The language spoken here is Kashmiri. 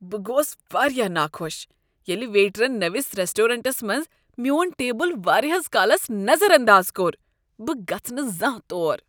بہٕ گوس واریاہ ناخوش ییٚلہ ویٹرن نوِس ریسٹرانٹس منٛز میون ٹیبل واریاہس کالس نظر انداز کوٚر۔ بہٕ گژھہٕ نہٕ زانٛہہ تور۔